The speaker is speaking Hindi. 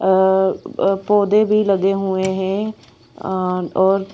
अअ अ पौधे भी लगे हुए हैं अं और--